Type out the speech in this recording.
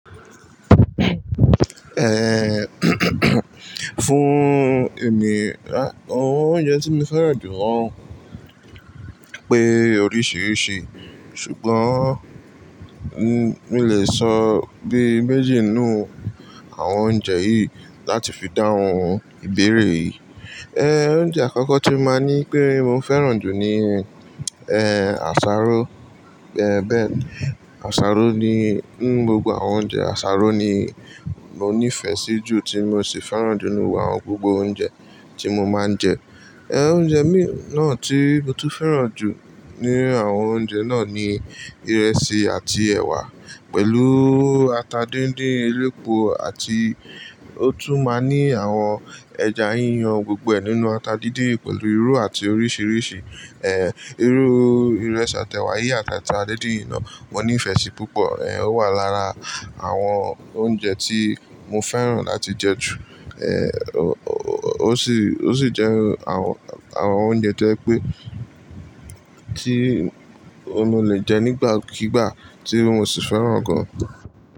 Fún èmi àwọn oúnjẹ tí mo fẹ́ràn jù wọ́n pé oríṣiríṣi ṣùgbọ́n mo lè sọ bí méjì nínú àwọn oúnjẹ yìí láti fi dáhùn ìbéèrè yìí. Oúnjẹ àkọ́kọ́ tí màá ní pé mo fẹ́ràn jù ni àsáró bẹ́ẹ̀ni àsáró ni nínu gbogbo àwọn oúnjẹ àsáró ni mo nífẹ̀ẹ́ sí jù tí mo sì fẹ́ràn jù nínú àwọn gbogbo oúnjẹ tí mo máa ń jẹ. Oúnjẹ mi náà tí mo tún fẹ́ràn jù nínu àwọn oúnjẹ náà ni ìrẹsì àti ẹ̀wà pẹ̀lú ata díndín elépo àti ó tún máa ní àwọn ẹja yíyan gbgbo nínú ata díndín pẹ̀lú irú àti oríṣiríṣi irú ìrẹsì àti ẹ̀wà yìí àtàti ata díndín yi náà mo nífẹ̀ẹ́ sí púpọ̀ ó wà lára àwọn oúnjẹ tí mo fẹ́ràn láti jẹ ju. Ó sì, ó sì jẹ àwọn, àwọn oúnjẹ tó jẹ pé tí mo lè jẹ nígbàkígbà tí mo sì fẹ́ràn gan.